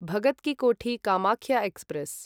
Bhagat ki Kothi Kamakhya express